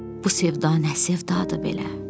Bu sevda nə sevdadı belə.